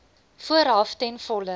vooraf ten volle